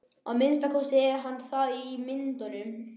Að minnsta kosti er hann það í myndunum.